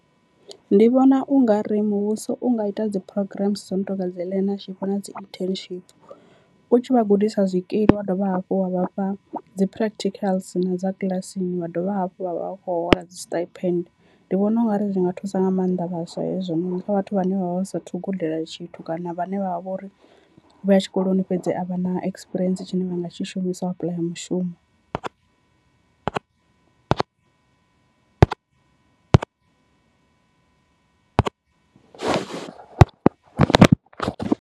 Ndi vhona ungari muvhuso unga ita dzi programs dzo no tonga dzi learnership na dzi internship u tshi vha gudisa zwikili wa dovha hafhu wa vha fha dzi practicals na dza kiḽasini wa dovha hafhu vha vha khou hola dzi stipend, ndi vhona ungari zwi nga thusa nga maanḓa vhaswa hezwononi kha vhathu vhane vha vha vha sathu gudela tshithu kana vhane vha vho ri vho ya tshikoloni fhedzi a vha na ekisipirientsi tshine vha nga tshi shumisa u apuḽaya mushumo .